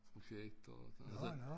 Projekter og sådan noget så